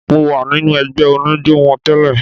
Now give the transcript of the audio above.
Mo wà nínú ẹgbẹ́ oníjó wọn tẹ́lẹ̀.